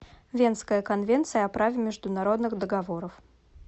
венская конвенция о праве международных договоров